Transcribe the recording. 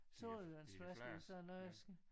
Sodavandsflaske eller sådan noget